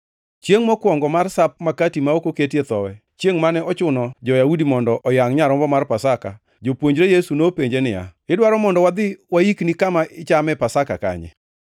Chiengʼ mokwongo mar Sap Makati ma ok oketie Thowi, chiengʼ mane ochuno jo-Yahudi mondo oyangʼ nyarombo mar Pasaka, jopuonjre Yesu nopenje niya, “Idwaro mondo wadhi waikni kama ichame Pasaka kanye?”